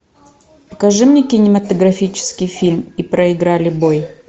покажи мне кинематографический фильм и проиграли бой